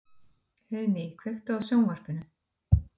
Heiðný, kveiktu á sjónvarpinu.